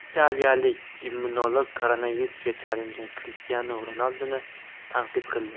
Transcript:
Italiyalik immunolog koronavirusga chalingan Krishtianu Ronalduni tanqid qildi.